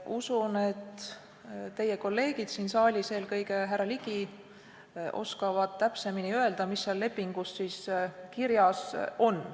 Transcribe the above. Usun, et teie kolleegid siin saalis, eelkõige härra Ligi, oskavad täpsemini öelda, mis seal lepingus kirjas on.